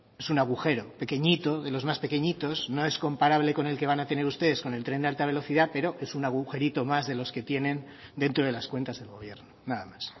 es un agujero pequeñito de los más pequeñitos no es comparable con el que van a tener ustedes con el tren de alta velocidad pero es un agujerito más de los que tienen dentro de las cuentas del gobierno nada más